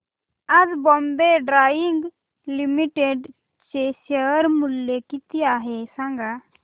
आज Bombay Dyeing Limited चे share मूल्य किती आहे सांगा